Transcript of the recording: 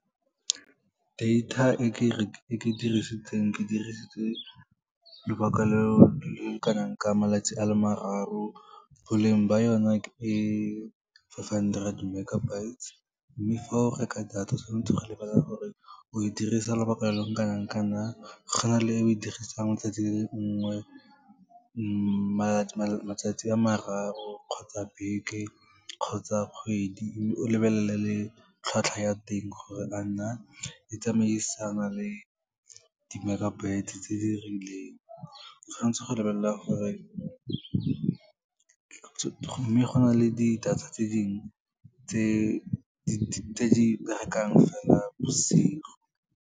Data e ke dirisitseng, ke dirisitse lobaka lo lo kanang ka malatsi a le mararo, boleng ba ona ke five hundred megabytes. Mme fa o reka data, o tswanetse go lebelela gore o e dirisa lobaka lo lo kana nkanang, go na le e o e dirisang letsatsi le le nngwe, matsatsi a mararo kgotsa beke, kgotsa kgwedi, mme o lebelela le tlhwatlhwa ya teng gore a na e tsamaisana le di-megabyte-e tse di rileng. O tshwan'tse go lebelela gore mme go na le di-data tse dingwe tse di berekang fela bosigo.